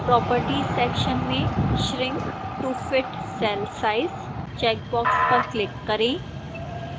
properties section में shrink to fit cell size checkbox पर click करें